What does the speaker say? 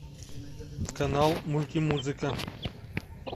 канал мультимузыка